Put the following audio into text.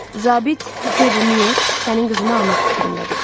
Zabit Devi Myor sənin qızını almaq fikrindədir.